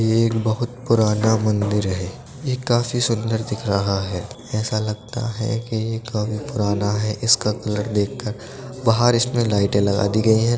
ये एक बहुत पुराना मंदिर है ये काफी सुंदर दिख रहा है ऐसा लगता है कि ये काफी पुराना है इसका कलर देख कर बाहर इसमे लाइटे लगा दी गई हैं।